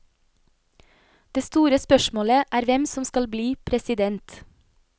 Det store spørsmålet er hvem som skal bli president.